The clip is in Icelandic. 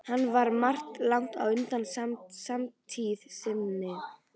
Hann var um margt langt á undan samtíð sinni.